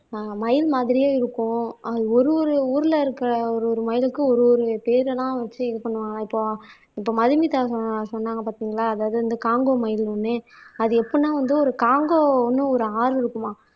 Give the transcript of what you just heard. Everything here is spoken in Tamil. ஆஹ் மயில் மாதிரியே இருக்கும் அது ஒரு ஒரு ஊர்ல இருக்க ஒரு ஒரு மயிலுக்கும் ஒரு ஒரு பேருலாம் வச்சு இது பண்ணுவாங்க இப்போ இப்ப மதுமிதா அஹ் சொன்னாங்க பார்த்தீங்களா அதாவது இந்த காங்கோ மயில் ஒண்ணு அது எப்படின்னா வந்து ஒரு காங்கோ ஒண்ணு ஒரு ஆறு இருக்குமாம்